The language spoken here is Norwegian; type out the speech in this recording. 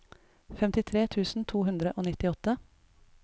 femtitre tusen to hundre og nittiåtte